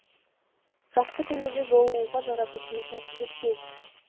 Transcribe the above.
жақсы күндерде жолығуға жаратушымыз нәсіп еткей